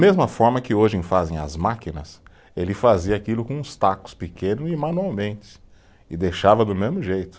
Mesma forma que hoje fazem as máquinas, ele fazia aquilo com uns tacos pequeno e manualmente e deixava do mesmo jeito.